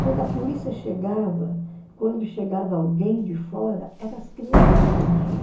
Quando a polícia chegava, quando chegava alguém de fora, eram as crianças que atendiam.